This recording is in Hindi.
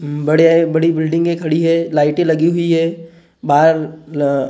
बड़ी बिल्डिंगें खड़ी हैं लाइटें लगी हुई हैं बाहर --